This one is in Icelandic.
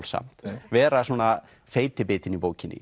samt vera svona feiti bitinn í bókinni